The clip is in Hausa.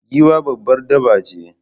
Giwa babbar dabba ce